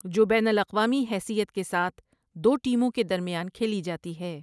جو بین الاقوامی حیثیت کے ساتھ دو ٹیموں کے درمیان کھیلی جاتی ہے۔